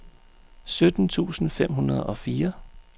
sytten tusind fem hundrede og fire